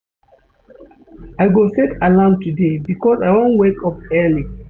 I go set alarm today because I wan wake up early.